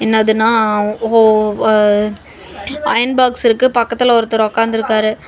என்னதுனா ஒ வ அயன் பாக்ஸ் இருக்கு பக்கத்துல ஒருத்தர் ஒக்காந்துருக்காரு.